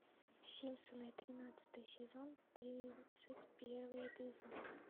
симпсоны тринадцатый сезон тридцать первый эпизод